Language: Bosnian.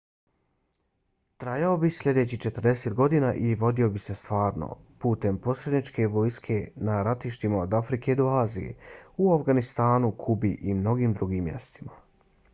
trajao bi sljedećih 40 godina i vodio bi se stvarno putem posredničkih vojski na ratištima od afrike do azije u afganistanu kubi i mnogim drugim mjestima